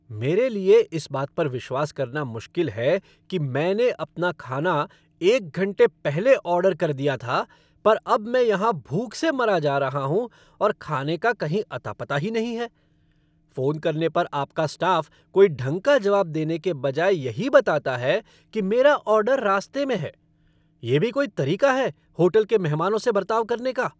मेरे लिए इस बात पर विश्वास करना मुश्किल है कि मैंने अपना खाना एक घंटे पहले ऑर्डर कर दिया था, पर अब मैं यहाँ भूख से मरा जा रहा हूँ और खाने का कहीं अता पता ही नहीं है। फ़ोन करने पर आपका स्टाफ़ कोई ढंग का जवाब देने के बजाय यही बताता है कि मेरा ऑर्डर रास्ते में है। ये भी कोई तरीका है होटल के मेहमानों से बर्ताव करने का?